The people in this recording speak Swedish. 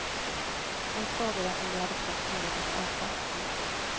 Hon frågade om de hade fått något att äta. punkt